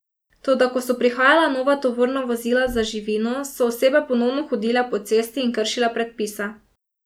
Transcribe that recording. Toda ko so prihajala nova tovorna vozila z živino, so osebe ponovno hodile po cesti in kršile predpise.